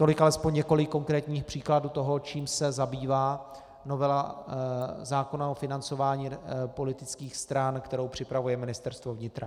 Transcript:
Tolik alespoň několik konkrétních příkladů toho, čím se zabývá novela zákona o financování politických stran, kterou připravuje Ministerstvo vnitra.